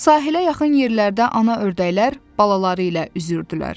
Sahilə yaxın yerlərdə ana ördəklər balaları ilə üzürdülər.